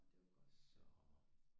Nå det var godt